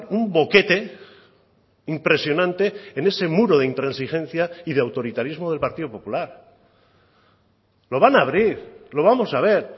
un boquete impresionante en ese muro de intransigencia y de autoritarismo del partido popular lo van a abrir lo vamos a ver